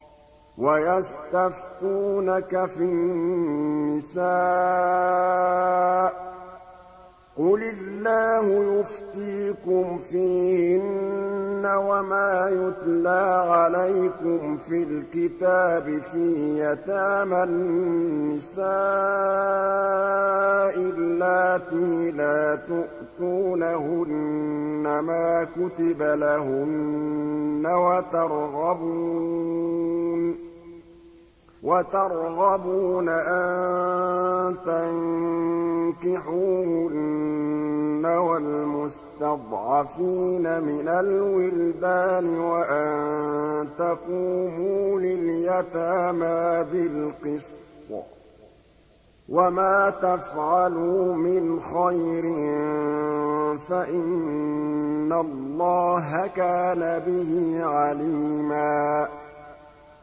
وَيَسْتَفْتُونَكَ فِي النِّسَاءِ ۖ قُلِ اللَّهُ يُفْتِيكُمْ فِيهِنَّ وَمَا يُتْلَىٰ عَلَيْكُمْ فِي الْكِتَابِ فِي يَتَامَى النِّسَاءِ اللَّاتِي لَا تُؤْتُونَهُنَّ مَا كُتِبَ لَهُنَّ وَتَرْغَبُونَ أَن تَنكِحُوهُنَّ وَالْمُسْتَضْعَفِينَ مِنَ الْوِلْدَانِ وَأَن تَقُومُوا لِلْيَتَامَىٰ بِالْقِسْطِ ۚ وَمَا تَفْعَلُوا مِنْ خَيْرٍ فَإِنَّ اللَّهَ كَانَ بِهِ عَلِيمًا